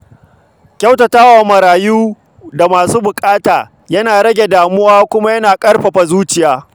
Kyautata wa marayu da masu buƙata yana rage damuwa kuma yana ƙarfafa zuciya.